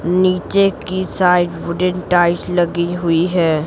नीचे की side wooden tight लगी हुई है।